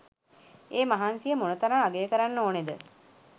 ඒ මහන්සිය මොන තරම් අගය කරන්න ඕනේද?